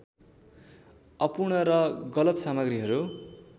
अपूर्ण र गलत सामग्रीहरू